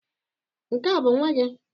Nke a bụ nwa gị?